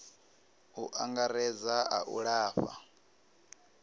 u angaredza a u lafha